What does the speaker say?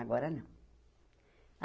Agora não.